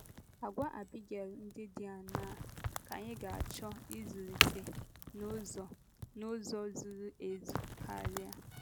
Àgwà Abigail ndị dị aṅaa ka anyị ga - achọ ịzụlite n’ụzọ n’ụzọ zuru ezu karị?